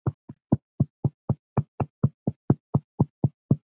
En íslensk skal afurðin vera.